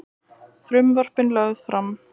Frumvörpin lögð fram